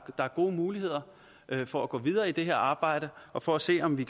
er gode muligheder for at gå videre med det her arbejde og for at se om vi